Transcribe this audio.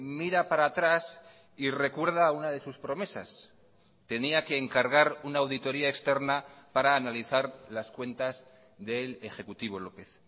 mira para atrás y recuerda una de sus promesas tenía que encargar una auditoría externa para analizar las cuentas del ejecutivo lópez